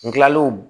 N kilalen